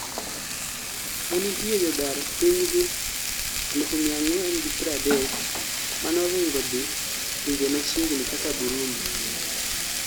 nenitie jodar pinygi 430,000 manoringo dhii pinje machiegni kaka Burundi